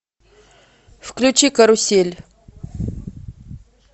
включи карусель